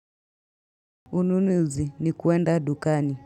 Ununuzi ni kwenda dukani.